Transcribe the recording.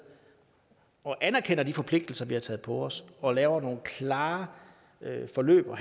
og anerkender de forpligtelser vi har taget på os og laver nogle klare forløb